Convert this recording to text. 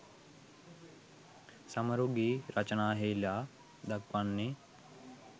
සමරු ගී රචනයෙහිලා දක්වන්නේ